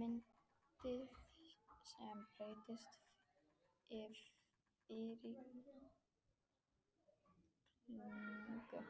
Myndið sem breiðasta fylkingu,